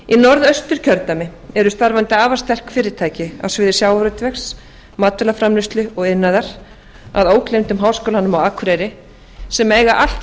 í norðausturkjördæmi eru starfandi afar sterk fyrirtæki á sviði sjávarútvegs matvælaframleiðslu og iðnaðar að ógleymdum háskólanum á akureyri sem eiga allt